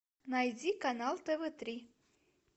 найди канал тв три